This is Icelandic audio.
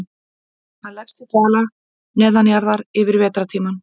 Hann leggst í dvala neðanjarðar yfir vetrartímann.